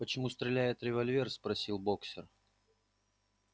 почему стреляет револьвер спросил боксёр